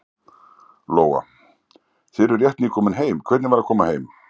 Lóa: Þið eruð rétt nýkomin heim, hvernig var að koma heim?